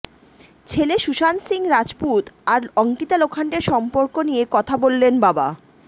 ছেলে সুশান্ত সিং রাজপুত আর অঙ্কিতা লোখান্ডের সম্পর্ক নিয়ে কথা বললেন বাবা